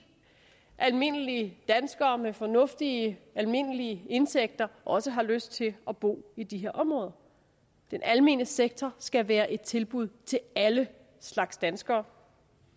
almindelige danskere med fornuftige almindelige indtægter også har lyst til at bo i de her områder den almene sektor skal være et tilbud til alle slags danskere